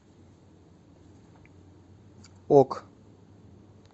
ок